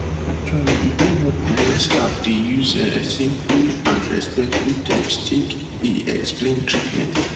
actually e dey helpful wen staff dey use um simple and respectful terms take dey explain treatments